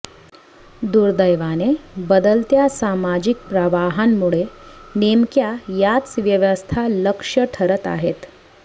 दुर्दैवाने बदलत्या सामाजिक प्रवाहांमुळे नेमक्या याच व्यवस्था लक्ष्य ठरत आहेत